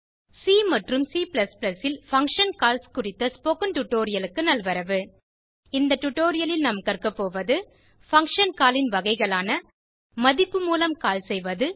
C மற்றும் C ல் function calls குறித்த ஸ்போகன் டுடோரியலுக்கு நல்வரவு இந்த டுடோரியலில் நாம் கற்க போவது பங்ஷன் கால் ன் வகைகளான மதிப்பு மூலம் கால் செய்வது